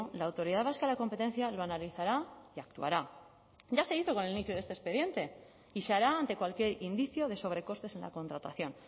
la autoridad vasca de la competencia lo analizará y actuará ya se hizo con el inicio de este expediente y se hará ante cualquier indicio de sobrecostes en la contratación